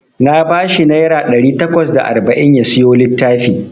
Na bashi naira ɗari takwas da arba'in ya siyo littafi.